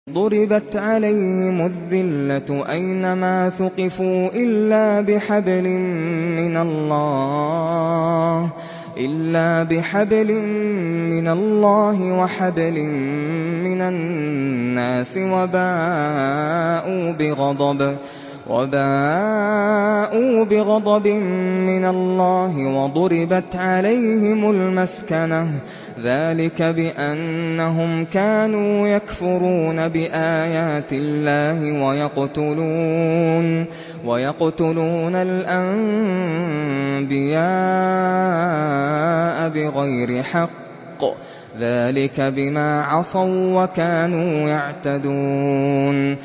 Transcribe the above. ضُرِبَتْ عَلَيْهِمُ الذِّلَّةُ أَيْنَ مَا ثُقِفُوا إِلَّا بِحَبْلٍ مِّنَ اللَّهِ وَحَبْلٍ مِّنَ النَّاسِ وَبَاءُوا بِغَضَبٍ مِّنَ اللَّهِ وَضُرِبَتْ عَلَيْهِمُ الْمَسْكَنَةُ ۚ ذَٰلِكَ بِأَنَّهُمْ كَانُوا يَكْفُرُونَ بِآيَاتِ اللَّهِ وَيَقْتُلُونَ الْأَنبِيَاءَ بِغَيْرِ حَقٍّ ۚ ذَٰلِكَ بِمَا عَصَوا وَّكَانُوا يَعْتَدُونَ